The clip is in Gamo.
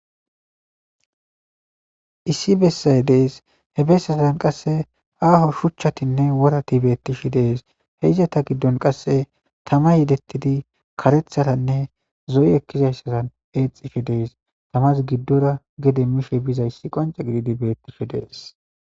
issi bessaye dees he bessatan qasse aaho shuchchatinne worati beettishe dees he izata giddon qasse tama yedettidi karethatanne zoyi ekkizayssatan eexishe dees tamas giddora gede mishe bizayssi qonca gididi beettishe dees